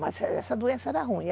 Mas essa essa doença era ruim.